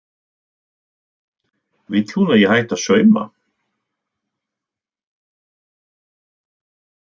Vill hún að ég hætti að sauma?